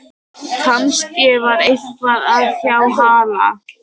Kannski var eitthvað að hjá Halla